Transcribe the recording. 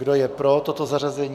Kdo je pro toto zařazení?